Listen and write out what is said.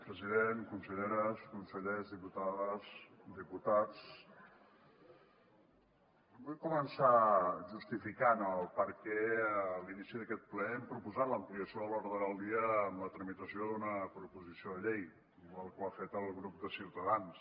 president conselleres consellers diputades diputats vull començar justificant per què a l’inici d’aquest ple hem proposat l’ampliació de l’ordre del dia amb la tramitació d’una proposició de llei igual que ho ha fet el grup de ciutadans